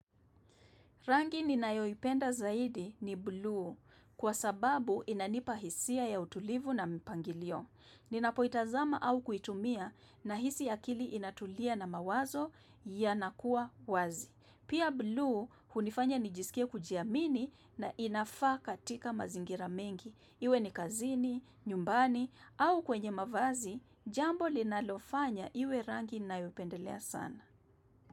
Rangi ninayoipenda zaidi ni blue, kwa sababu inanipa hisia ya utulivu na mpangilio. Ninapoitazama au kuitumia, nahisi akili inatulia na mawazo yanakuwa wazi. Pia blue hunifanya nijisikie kujiamini na inafaa katika mazingira mengi. Iwe ni kazini, nyumbani au kwenye mavazi, jambo linalofanya iwe rangi ninayoipendelea sana.